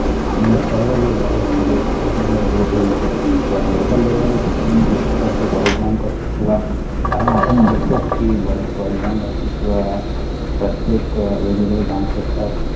आणि सर्व